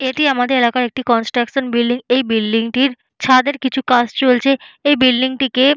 এটি আমাদের এলাকার একটি কনস্ট্রাশন বিল্ডিং । এই বিল্ডিং -টির ছাদের কিছু কাজ চলছে এই বিল্ডিং টিকে--